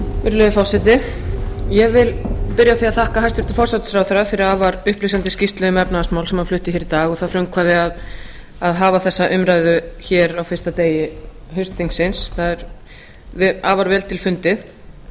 virðulegi forseti ég vil byrja á því að þakka hæstvirtum forsætisráðherra fyrir afar upplýsandi skýrslu um efnahagsmál sem hann flutti hér í dag og það frumkvæði að hafa þessa umræðu hér á fyrsta degi haustþingsins það er afar vel til fundið